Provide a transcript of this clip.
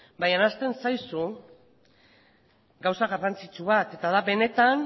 baina ahazten zaizu gauza garrantzitsu bat eta da benetan